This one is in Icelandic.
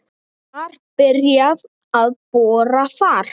Var byrjað að bora þar